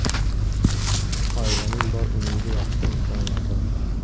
Oilaning bor umidi yaxshi insonlardan.